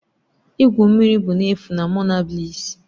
igwu mmiri bụ n'efu na Monabliss'